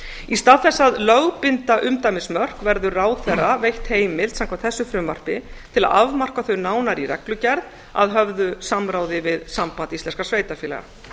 í stað þess að lögbinda umdæmismörk verður ráðherra veitt heimild samkvæmt þessu frumvarpi til að afmarka þau nánar í reglugerð að höfðu samráði við samband íslenskra sveitarfélaga